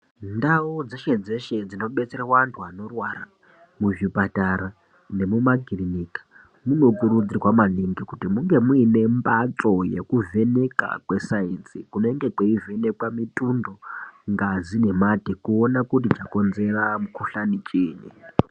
Ndawo dzeshe dzeshe dzinobetsera wantu wanorwara , muzvipatara nemumakilinika, munokurudzirwa maningi kuti munge muyine mbatso yekuvheneka kwesayensi kunenge kuyivhenekwa mitundo, ngazi nemadekona kuwona kuti chakonzera mukhuhlane chii.